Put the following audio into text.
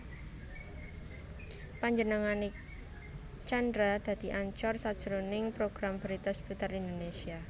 Panjenengané Tjandra dadi anchor sajroning program brita Seputar Indonésia